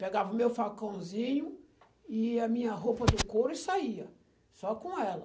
Pegava o meu facãozinho e a minha roupa do couro e saía, só com ela.